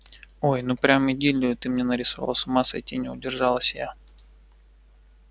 ой ну прям идиллию ты мне нарисовал с ума сойти не удержалась я